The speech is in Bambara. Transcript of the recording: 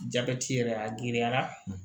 Jabɛti yɛrɛ a giriyara